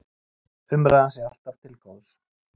Umræðan sé alltaf til góðs